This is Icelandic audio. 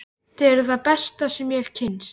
Þið eruð það besta sem ég hef kynnst.